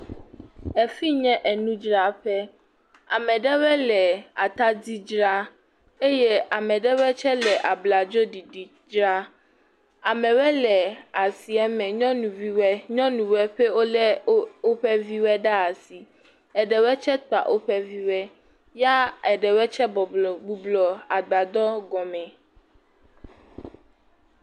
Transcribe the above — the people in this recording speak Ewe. Efi nye enudraƒe, ame aɖewe le atadi dzra, eye ame aɖewe tse le abladzoɖiɖi dzra, amewe le asieme, nyɔnuviwe nyɔnuwe ʋe wo lé woƒe view ɖe asi ɖewe tse kpa woƒe view ya ɖewe tse bublɔ agbadɔ gɔme.